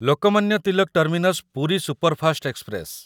Lokmanya Tilak terminus Puri superfast express